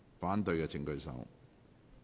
反對的請舉手。